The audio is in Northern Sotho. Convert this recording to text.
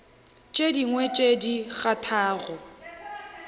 tše dingwe tše di kgathago